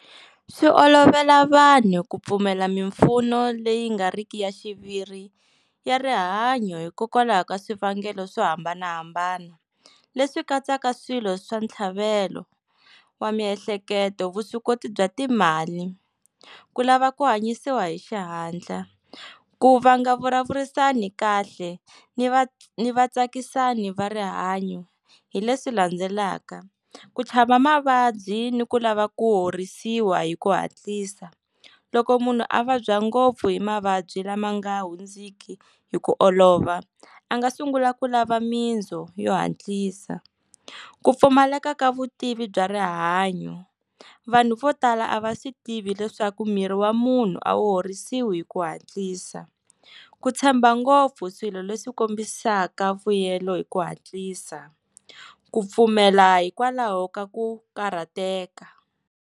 Swi olovela vanhu ku pfumela mimpfuno leyi nga riki ya xiviri ya rihanyo hikokwalaho ka swivangelo swo hambanahambana, leswi katsaka swilo swa ntlhavelo wa miehleketo, vuswikoti bya timali, ku lava ku hanyisiwa hi xihatla. Ku va nga vulavurisani kahle ni va ni va tsakisani va rihanyo hi leswi landzelaka, ku chava mavabyi ni ku lava ku horisiwa hi ku hatlisa, loko munhu a vabya ngopfu hi mavabyi lama nga hundziki hi ku olova a nga sungula ku lava minzo yo hatlisa, ku pfumaleka ka vutivi bya rihanyo, vanhu vo tala a va swi tivi leswaku miri wa munhu a wu horisiwa hi ku hatlisa, ku tshemba ngopfu swilo leswi kombisaka vuyelo hi ku hatlisa, ku pfumela hikwalaho ka ku karhateka.